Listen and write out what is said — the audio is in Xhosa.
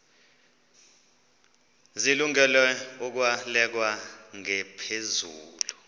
zilungele ukwalekwa ngaphezulu